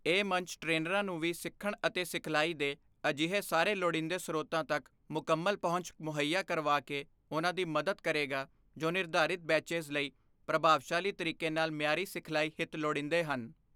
ਇਹ ਮੰਚ ਟ੍ਰੇਨਰਾਂ ਨੂੰ ਵੀ ਸਿੱਖਣ ਅਤੇ ਸਿਖਲਾਈ ਦੇ ਅਜਿਹੇ ਸਾਰੇ ਲੋੜੀਂਦੇ ਸਰੋਤਾਂ ਤੱਕ ਮੁਕੰਮਲ ਪਹੁੰਚ ਮੁਹੱਈਆ ਕਰਵਾ ਕੇ ਉਨ੍ਹਾਂ ਦੀ ਮਦਦ ਕਰੇਗਾ ਜੋ ਨਿਰਧਾਰਿਤ ਬੈਚੇਜ਼ ਲਈ ਪ੍ਰਭਾਵਸ਼ਾਲੀ ਤਰੀਕੇ ਨਾਲ ਮਿਆਰੀ ਸਿਖਲਾਈ ਹਿਤ ਲੋੜੀਂਦੇ ਹਨ।